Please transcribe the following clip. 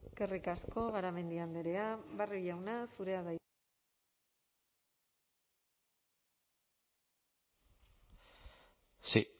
eskerrik asko garamendi andrea barrio jauna zurea da hitza sí